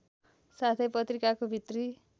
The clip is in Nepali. साथै पत्रिकाको भित्री